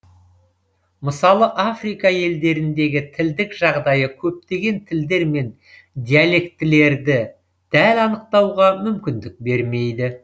мысалы африка елдеріндегі тілдік жағдайы көптеген тілдер мен диалектілерді дәл анықтауға мүмкіндік бермейді